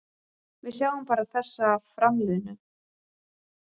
Við sjáum bara þessa framliðnu.